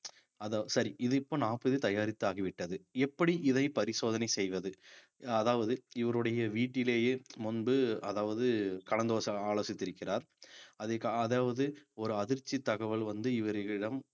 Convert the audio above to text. அத சரி இது இப்ப napkin தயாரித்து ஆகிவிட்டது எப்படி இதை பரிசோதனை செய்வது அதாவது இவருடைய வீட்டிலேயே முன்பு அதாவது கலந்து ஆலோ~ ஆலோசித்திருக்கிறார் அதாவது ஒரு அதிர்ச்சித் தகவல் வந்து இவர்களிடம்